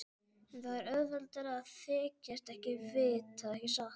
En það er auðveldara að þykjast ekkert vita, ekki satt.